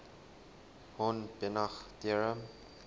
hahn banach theorem